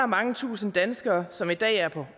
mange tusind danskere som i dag er på